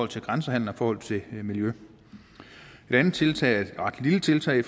til grænsehandel og i forhold til miljø en andet tiltag er et ret lille tiltag